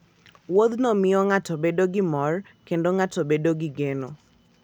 Wuodhno miyo ng'ato bedo gi mor, kendo ng'ato bedo gi geno.